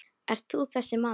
Ert þú þessi maður?